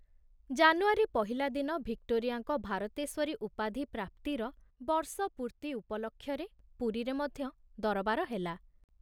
ଜାନୁଆରୀ ପହିଲା ଦିନ ଭିକ୍ଟୋରିଆଙ୍କ ଭାରତେଶ୍ଵରୀ ଉପାଧି ପ୍ରାପ୍ତିର ବର୍ଷ ପୂର୍ତି ଉପଲକ୍ଷରେ ପୁରୀରେ ମଧ୍ୟ ଦରବାର ହେଲା।